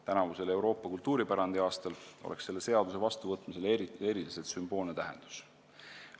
Tänavusel Euroopa kultuuripärandi aastal oleks selle seaduse vastuvõtmisel eriti sümboolne tähendus.